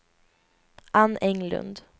Ann Englund